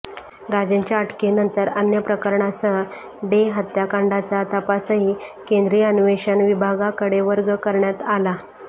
राजनच्या अटकेनंतर अन्य प्रकरणांसह डे हत्याकांडाचा तपासही केंद्रीय अन्वेषण विभागाकडे वर्ग करण्यात आला